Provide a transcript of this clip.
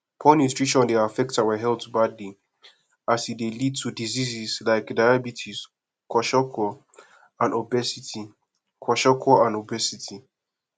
poor nutirition dey affect our health badly as e dey lead to diseases like diabetes kwasokor and obesity kwasokor and obesity